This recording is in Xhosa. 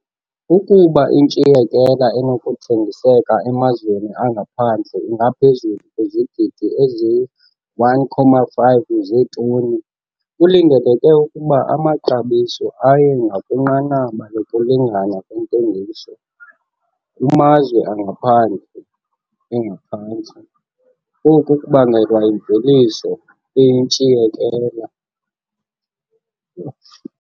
Ukuba intshiyekela enokuthengiseka emazweni angaphandle ingaphezulu kwizigidi eziyi-1,5 zeetoni, kulindeleke ukuba amaxabiso aye ngakwinqanaba lokulingana kwentengiso kumazwe angaphandle, engaphantsi, oku kubangelwa yimveliso eyintshiyekela.